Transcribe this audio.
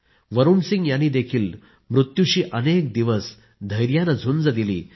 वरुण सिंह यांनी देखील मृत्यूशी अनेक दिवस धैर्याने झुंज दिली